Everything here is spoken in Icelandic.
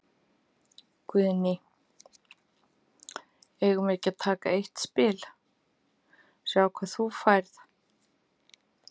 Guðný: Eigum við ekki að taka eitt spil, sjá hvað þú færð?